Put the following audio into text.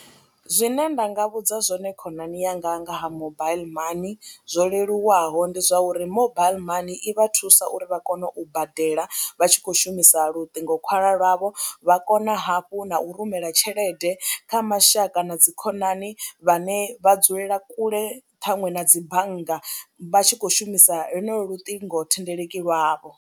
Zwine nda nga vhudza zwone khonani yanga nga ha mobile money zwo leluwaho ndi zwa uri mobile money i vha thusa uri vha kone u badela vha tshi khou shumisa lutingokhwalwa lwavho, vha kona hafhu na u rumela tshelede kha mashaka na dzi khonani vhane vha dzulela kule, ṱhaṅwe na dzi bannga vha tshi khou shumisa lonolwo luṱingothendeleki lwavho.